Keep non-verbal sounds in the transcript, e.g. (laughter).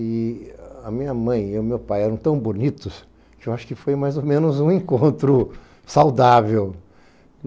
E a minha mãe e o meu pai eram tão bonitos que eu acho que foi mais ou menos um encontro saudável. (laughs)